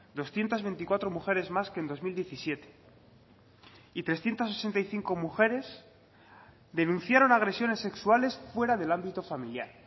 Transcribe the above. doscientos veinticuatro mujeres más que en dos mil diecisiete y trescientos sesenta y cinco mujeres denunciaron agresiones sexuales fuera del ámbito familiar